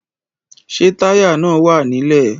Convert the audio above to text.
Ṣé táyà náà wà nílẹ̀?